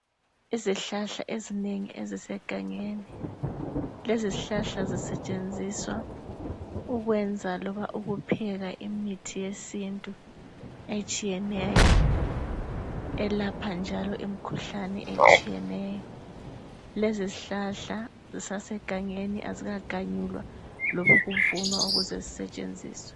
Izihlahla ezinengi ezisegangeni. Lezi zihlahla zisetshenziswa ukwenza loba ukupheka imithi yesintu etshiyeneyo. Elapha njalo imikhuhlane etshiyeneyo. Lezizihlahla zisasegangeni. Azikaganyulwa loba ukuvunwa ukuze zisetshenziswe.